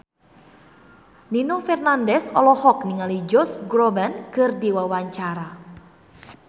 Nino Fernandez olohok ningali Josh Groban keur diwawancara